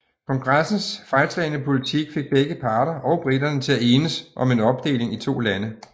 Kongressens fejlslagne politik fik begge parter og briterne til at enes om en opdeling i to lande